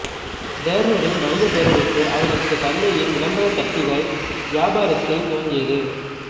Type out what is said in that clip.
டேர்னரின் வணிகப் பேரரசு அவரது தந்தையின் விளம்பர தட்டிகள் வியாபாரத்தில் துவங்கியது